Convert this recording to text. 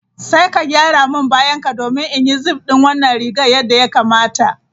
Sai ka gyara min bayanka domin in yi zip din wannan rigar yadda ya kamata.